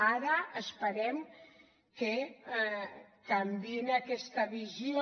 ara esperem que canviïn aquesta visió